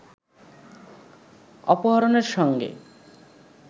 অপহরণের সঙ্গে